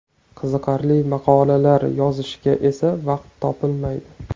Qiziqarli maqolalar yozishga esa vaqt topilmaydi.